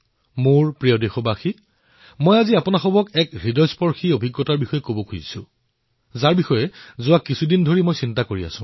মোৰ মৰমৰ দেশবাসীসকল মই আজি আপোনালোকৰ সৈতে হৃদয়স্পৰ্শী কেইটামান অভিজ্ঞতা বিনিময় কৰিবলৈ ওলাইছো